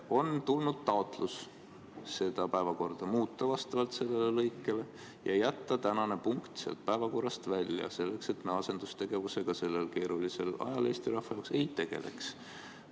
On tulnud taotlus päevakorda muuta vastavalt sellele lõikele ja jätta tänane punkt päevakorrast välja, selleks et me asendustegevusega sellel Eesti rahva jaoks keerulisel ajal ei tegeleks.